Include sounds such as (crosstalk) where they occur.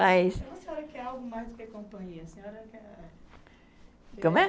A senhora quer algo mais do que companhia? A senhora quer (unintelligible) como é?